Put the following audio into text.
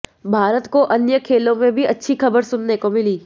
भारत को अन्य खेलों में भी अच्छी खबर सुनने को मिली